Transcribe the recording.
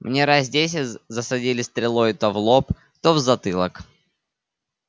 мне раз десять засадили стрелой то в лоб то в затылок